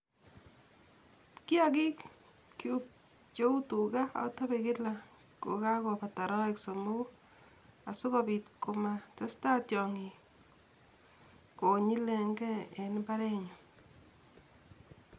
Kiyagikyuk cheu tuga atape kila kokagobata arawek somogu asikopiit komatesta tiong'ik konyilengei en mbarenyun